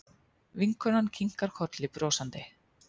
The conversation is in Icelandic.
Vinkonan kinkar kolli brosandi.